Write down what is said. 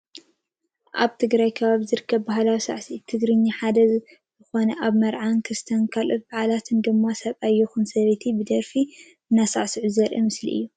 ኣብ ትግራይ ካብ ዝርከቡ ባህላዊ ሳዕስዒት ትግርኛ ሓደ ዝኮነ ኣብ መርዓን ክርስትናን ካልኦት ባዓላትን ድማ ሰብኣይ ይኩን ሰበይቲ ብደርፊ እንዳሳዕስዑ ዘርኢ ምስሊ እዩ።